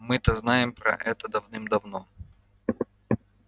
мы то знаем про это давным давно